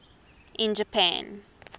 in japan